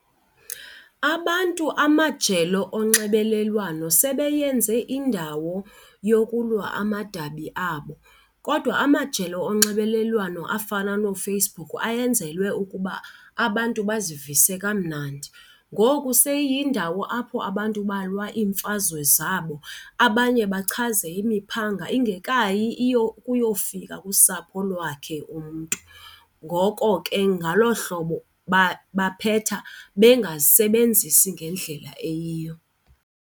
Abantu amajelo onxibelelwano sebeyenze indawo yokulwa amadabi abo kodwa amajelo onxibelelwano afana nooFacebook ayenzelwe ukuba abantu bazivise kamnandi. Ngoku seyiyindawo apho abantu balwa iimfazwe zabo, abanye bachaze imiphanga ingekayi iye ukuyofika kusapho lwakhe umntu. Ngoko ke ngalo hlobo baphetha bengazisebenzisi ngendlela eyiyo.